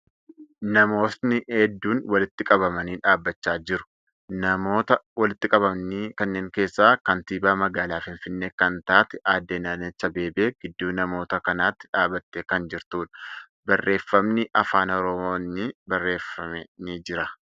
Namootni hedduun walitti qabamanii dhaabbachaa jiru. Namoota walitti qabaman kanneeni keessaa kaantiibaa magaalaa Finfinnee kan taate aadde Adaanach Abeebee gidduu namoota kanatti dhaabbattee kan jirtuudha. Barreeffamni afaan Oromootin barreeffame ni jira.